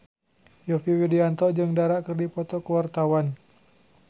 Yovie Widianto jeung Dara keur dipoto ku wartawan